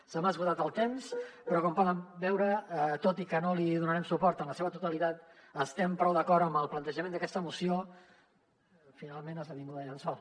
se m’ha esgotat el temps però com poden veure tot i que no li donarem suport en la seva totalitat estem prou d’acord amb el plantejament d’aquesta moció final·ment esdevinguda llençol